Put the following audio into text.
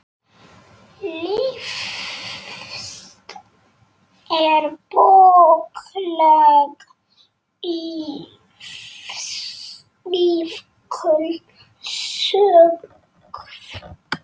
List er bókleg iðkun sögð.